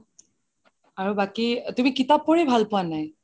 আৰু বাকি তুমি কিতাপ পঢ়ি ভাল পুৱা নে নাই ?